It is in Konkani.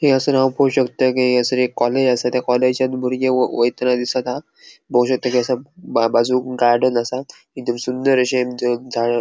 ये असून हाव पो शकता के हयसर एक कॉलेज त्या कॉलेजान बुर्गे वै वैताना दिसत आहा बऊषकता बाजूक गार्डन असा तिथे सुंदर अशे अ झाड ---